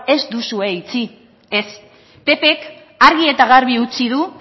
ez duzue itxi ez ppk argi eta garbi utzi du